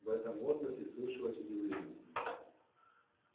в этом возгласе слышалось удивление